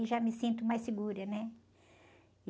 Já me sinto mais segura, né?